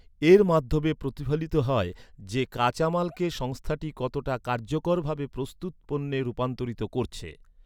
এর মাধ্যমে প্রতিফলিত হয় যে, কাঁচামালকে সংস্থাটি কতটা কার্যকরভাবে প্রস্তুত পণ্যে রূপান্তরিত করছে।